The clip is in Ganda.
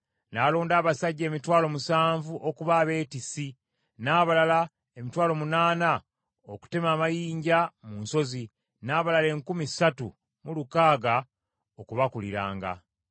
N’alonda abasajja emitwalo musanvu okuba abeetissi, n’abalala emitwalo munaana okutema amayinja mu nsozi, n’abalala enkumi ssatu mu lukaaga okubakuliranga.